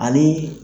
Ani